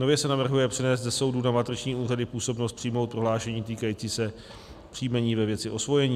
Nově se navrhuje přenést ze soudu na matriční úřady působnost přijmout prohlášení týkající se příjmení ve věci osvojení.